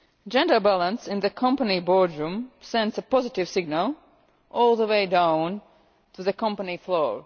Gender balance in the company boardroom sends a positive signal all the way down to the company floor.